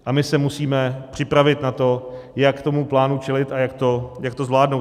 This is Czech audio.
A my se musíme připravit na to, jak tomu plánu čelit a jak to zvládnout.